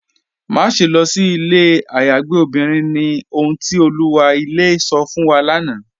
Máṣẹ̀ lọ sí ilẹ̀ ayàgbẹ̀ obìnrin ni, ọ̀hun ti Olúwa ilẹ̀ sọ̀ fún wa lánà.